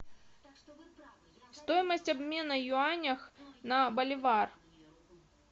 стоимость обмена юанях на боливар